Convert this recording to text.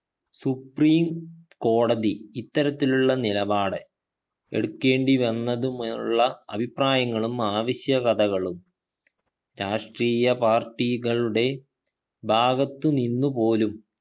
സുപ്രീംകോടതി ഇത്തരത്തിലുള്ള നിലപാട് എടുക്കേണ്ടി വന്നത് മുള്ള അഭിപ്രായങ്ങളും ആവശ്യകതകളും രാഷ്ട്രീയ party കളുടെ ഭാഗത്തു നിന്ന് പോലും